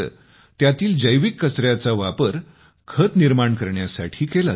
त्यातील जैविक कचऱ्याचा वापर खते निर्माण करण्यासाठी केला जातो